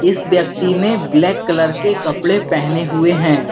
इस व्यक्ति ने ब्लैक कलर के कपड़े पहने हुए हैं।